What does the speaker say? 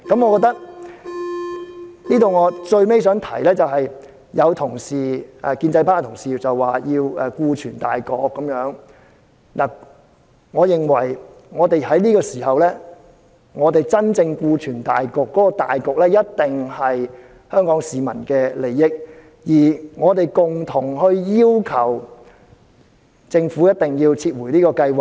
我想提出的最後一點是，有建制派同事說要顧全大局，我認為在這個時候，我們要真正顧全大局的"大局"，一定是香港市民的利益，而我們可共同要求政府撤回這項計劃。